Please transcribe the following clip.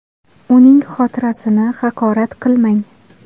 Uning xotirasini haqorat qilmang!